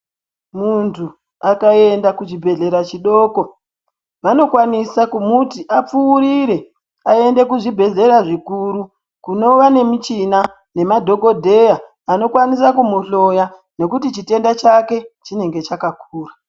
Muntu akaenda kuchibhedhleya chidoko vanokwanisa kumuti apfuurire aende kuzvibhedhleya zvikuru kunova nemichina nemadhokodheya anokwanisa kumuhloya nekuti chitenda chake chinenge chakakura.